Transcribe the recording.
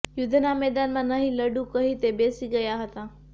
યુદ્ધના મેદાનમાં નહીં લડું કહી તે બેસી ગયા હતા